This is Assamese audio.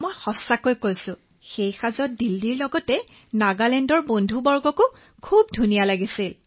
মই সঁচাকৈয়ে কৈছো আমাক সেই সাজত খুব ধুনীয়া দেখাইছিল